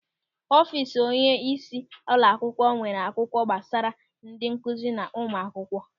Ọfiisi onyeisi ụlọakwụkwọ nwere akwụkwọ gbasara ndị nkụzi na ụmụ akwụkwọ.